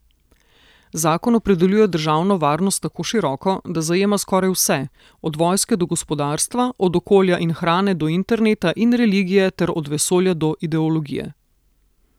Zakon opredeljuje državno varnost tako široko, da zajema skoraj vse, od vojske do gospodarstva, od okolja in hrane do interneta in religije ter od vesolja do ideologije.